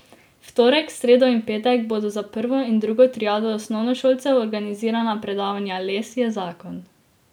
V torek, sredo in petek bodo za prvo in drugo triado osnovnošolcev organizirana predavanja Les je zakon.